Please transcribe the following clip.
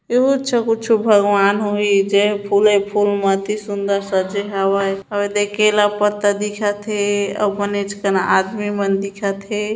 एहु च हा कुछु भगवन होही जेहा फुले च फुल म अति सुन्दर सजे हवय अउ ए दे केला पत्ता मन दिखत हे अउ बनेच कन आदमी मन दिखत हे।